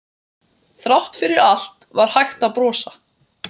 Þrátt fyrir allt var hægt að brosa.